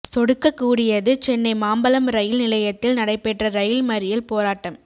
சொடுக்கக்கூடியது Chennai Mambalam rail நிலையத்தில் நடைபெற்ற rail மறியல் போராட்டம்